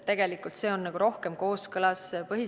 Tegelikult on see põhiseadusega rohkem kooskõlas.